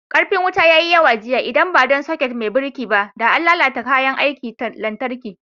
Ƙarfin wuta ya yi yawa jiya, idan ba don sakut bireka ba, da an lalata kayan aikin lantarki.